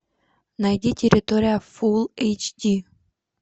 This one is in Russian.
найди территория фул эйч ди